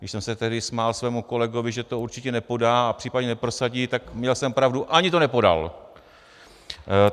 Když jsem se tehdy smál svému kolegovi, že to určitě nepodá a případně neprosadí, tak měl jsem pravdu - ani to nepodal!